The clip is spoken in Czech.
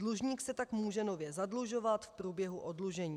Dlužník se tak může nově zadlužovat v průběhu oddlužení."